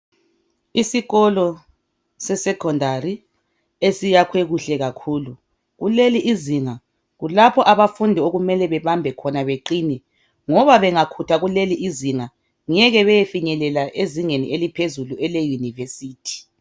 Isikolo se Secondary esiyakhiwe kuhle kakhulu. Kuleli izinga kulapho abafundi okumele bebambe khona beqine ngoba bengakhutha kuleli izinga , ngeke beyefinyelela ezingeni eliphezulu ele Yunivesithi.